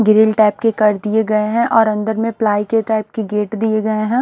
Grill type के कर दिए गए हैं और अंदर में प्लाई के टाइप के गेट दिए गए हैं।